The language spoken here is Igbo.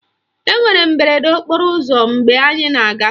Enwere mberede okporo ụzọ mgbe anyị na-aga